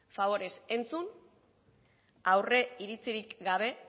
faborez entzun aurreiritzirik gabe